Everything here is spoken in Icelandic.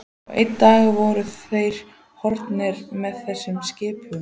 Og einn dag voru þeir horfnir með þessum skipum.